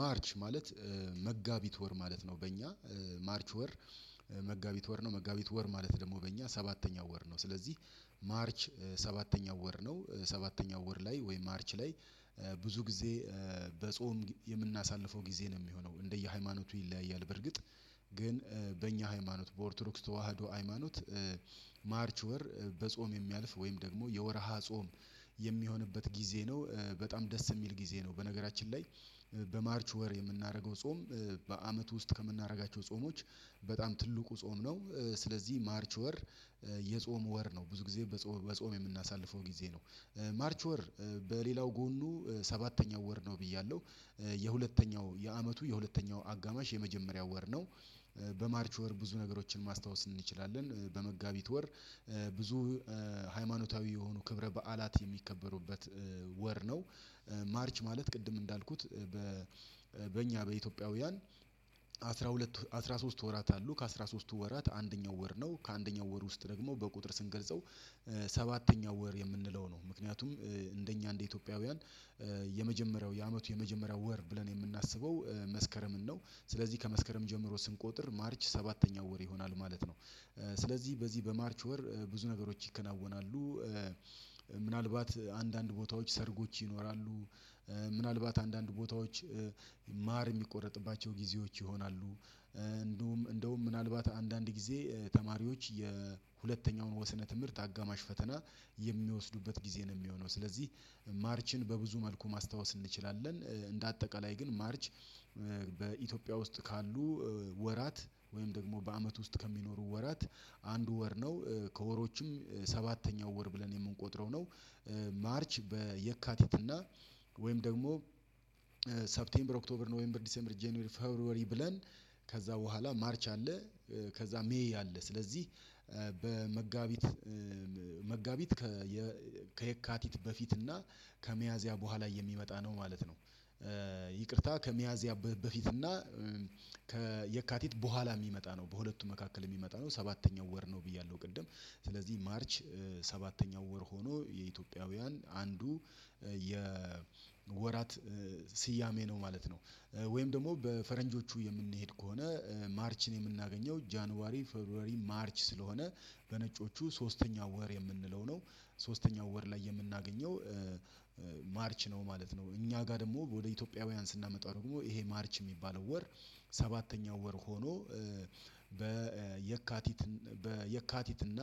ማርች ማለት መጋቢት ወር ማለት ነው። በእኛ ማርች ወር መጋቢት ወር ነው መጋቢት ወር ማለት ደግሞ በእኛ ሰባተኛው ወር ነው። ስለዚህ ማርች ሰባተኛው ወር ነው ሰባተኛው ወር ላይ ወይም ማርች ላይ ብዙ ጊዜ በጾም የምናሳልፈው ጊዜ ነው የሚሆነው እንደየሃይማኖቱ ይለያያል። በርግጥ ግን በእኛ ሃይማኖት በኦርቶዶክስ ተዋህዶ ሃይማኖት። ማርች ወር በጾም የሚያልፍ ወይም ደግሞ የወርሃ ጾም የሚሆንበት ጊዜ ነው በጣም ደስ የሚል ጊዜ ነው። በነገራችን ላይ በማርች ወር የምናደርገው ጾም በአመት ውስጥ ከምናደርጋቸው ጾሞች በጣም ትልቁ ጾም ነው። ስለዚህ ማርች ወር የጾም ወር ነው ብዙ ጊዜ በጾም የምናሳልፈው ጊዜ ነው። ማርች ወር በሌላው ጎኑ ሰባተኛው ወር ነው ብያለሁ የሁለተኛው የአመቱ የሁለተኛው አጋማሽ የመጀመሪያው ወር ነው። በማርች ወር ብዙ ነገሮችን ማስታወስ እንችላለን በመጋቢት ወር ብዙ ሃይማኖታዊ የሆኑ ክብረ በዓላት የሚከበሩበት ወር ነው። ማርች ማለት ቅድም እንዳልኩት በእኛ በኢትዮጵያውያን አስራ ሁለት አስራ ሶስት ወራት አሉ ከአስራ ሶስቱ ወራት አንደኛው ወር ነው። ከአንደኛው ወር ውስጥ ደግሞ በቁጥር ስንገልጸው ሰባተኛው ወር የምንለው ነው ምክንያቱም እንደኛ እንደ ኢትዮጵያውያን የመጀመሪያው የአመቱ የመጀመሪያው ወር ብለን የምናስበው መስከረምን ነው። ስለዚህ ከመስከረም ጀምሮ ስንቆጥር ማርች ሰባተኛው ወር ይሆናል ማለት ነው። ስለዚህ በዚህ በማርች ወር ብዙ ነገሮች ይከናወናሉ። ምናልባት አንዳንድ ቦታዎች ሰርጎች ይኖራሉ። ምናልባት አንዳንድ ቦታዎች ማር የሚቆረጥባቸው ጊዜዎች ይሆናሉ። እንደውም እንደውም ምናልባት አንዳንድ ጊዜ ተማሪዎች የሁለተኛውን ወሰነ ትምህርት አጋማሽ ፈተና የሚወስዱበት ጊዜ ነው የሚሆነው። ስለዚህ ማርችን በብዙ መልኩ ማስታወስ እንችላለን። እንደ አጠቃላይ ግን ማርች በኢትዮጵያ ውስጥ ካሉ ወራት ወይም ደግሞ በአመት ውስጥ ከሚኖሩ ወራት አንድ ወር ነው። ከወሮችም ሰባተኛው ወር ብለን የምንቆጥረው ነው። ማርች በየካቲት እና ወይም ደግሞ ሰፕቴምበር ኦክቶበር ነው ወይም የዲሴምበር ጄኔሪ ፈብርብር ብለን ከዛ በኋላ ማርች አለ። ከዛ ሜይ አለ ስለዚህ በመጋቢት መጋቢት ከየካቲት በፊት እና ከመያዚያ በኋላ የሚመጣ ነው ማለት ነው። ይቅርታ ከሚያዝያ በፊት እና ከየካቲት በኋላ የሚመጣ ነው በሁለቱ መካከል የሚመጣ ነው ሰባተኛው ወር ነው ብያለሁ ቅድም ስለዚህ ማርች ሰባተኛው ወር ሆኖ የኢትዮጵያውያን አንዱ የወራት ስያሜ ነው ማለት ነው። ወይም ደግሞ በፈረንጆቹ የምንሄድ ከሆነ ማርችን የምናገኘው ጃንዋሪ ፌፐሯዋሪ ማርች ስለሆነ በነጮቹ ሶስተኛው ወር የምንለው ነው። ሶስተኛው ወር ላይ የምናገኘው ማርች ነው ማለት ነው። እኛ ጋር ደግሞ ወደ ኢትዮጵያውያን ስናመጣው ደግሞ ይሄ ማርች የሚባለው ወር ሰባተኛው ወር ሆኖ በየካቲት በየካቲት እና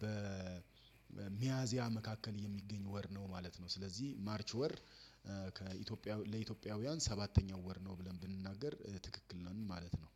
በሚያዚያ መካከል የሚገኝ ወር ነው ማለት ነው። ስለዚህ ማርች ወር ከኢትዮጵያ ለኢትዮጵያውያን ሰባተኛው ወር ነው ብለን ብንናገር ትክክል ነው ማለት ነው።